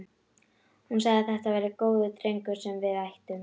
Hún sagði að þetta væri góður drengur sem við ættum.